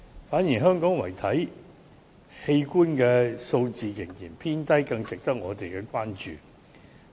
反而，香港遺體器官數字仍然偏低，是更加值得我們關注的。